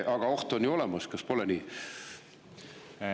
Aga oht on ju olemas, kas pole nii?